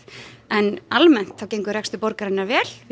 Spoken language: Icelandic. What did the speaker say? en almenn gengur rekstur borgarinnar vel við